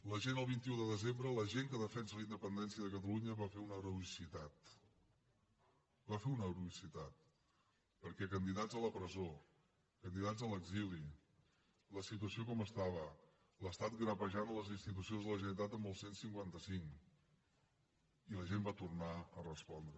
la gent el vint un de desembre la gent que defensa la independència de catalunya va fer una heroïcitat va fer una heroïcitat perquè candidats a la presó candidats a l’exili la situació com estava l’estat grapejant les institucions de la generalitat amb el cent i cinquanta cinc i la gent va tornar a respondre